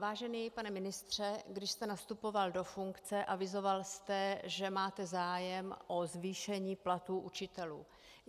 Vážený pane ministře, když jste nastupoval do funkce, avizoval jste, že máte zájem o zvýšení platů učitelů.